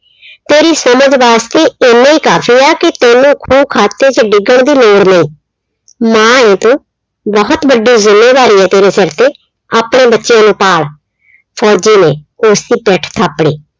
ਤੇਰੀ ਸਮਝ ਵਾਸਤੇ ਇੰਨਾ ਹੀ ਕਾਫੀ ਏ ਕਿ ਤੈਨੂੰ ਖੂਹ ਖਾਤੇ ਚ ਡਿੱਗਣ ਦੀ ਲੋੜ ਨਈ। ਮਾਂ ਏ ਤੂੰ ਬਹੁਤ ਵੱਡੀ ਜ਼ਿੰਮੇਵਾਰੀ ਏ ਤੇਰੇ ਸਿਰ ਤੇ ਆਪਣਿਆਂ ਬੱਚਿਆਂ ਨੂੰ ਪਾਲ। ਫੌਜੀ ਨੇ ਉਸਦੀ ਪਿੱਠ ਥਾਪੜੀ।